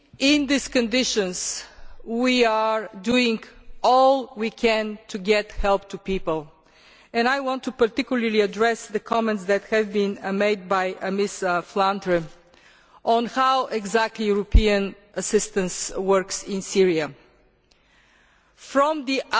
In these conditions, we are doing all we can to get help to people, and I want to particularly address the comments that have been made by Ms Flautre on how exactly European assistance works in Syria. From the